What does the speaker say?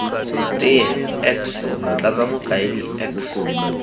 teye x motlatsa mokaedi x